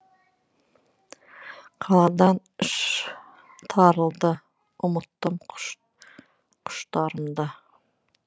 қаладан іш тарылды ұмыттым құштарымды